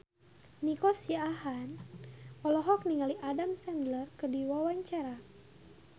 Nico Siahaan olohok ningali Adam Sandler keur diwawancara